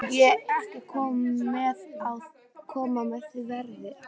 Má ég ekki koma á þau verði?